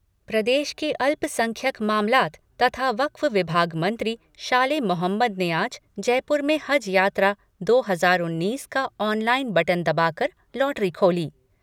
प्रदेश के अल्पसंख्यक मामलात तथा वक्फ विभाग मंत्री शाले मोहम्मद ने आज जयपुर में हज यात्रा दो हजार उन्नीस का ऑनलाईन बटन दबा कर लॉटरी खोली।